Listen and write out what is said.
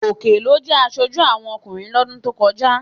Gòkè ló jẹ aṣojú àwọn ọkùnrin lọ́dún tó kọjá